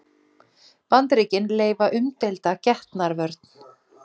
Bandaríkin leyfa umdeilda getnaðarvörn